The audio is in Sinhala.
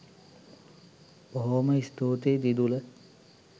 බොහොම ස්තූතියි දිදුල